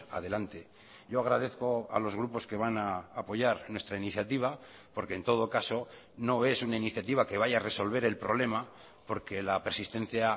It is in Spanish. adelante yo agradezco a los grupos que van a apoyar nuestra iniciativa porque en todo caso no es una iniciativa que vaya a resolver el problema porque la persistencia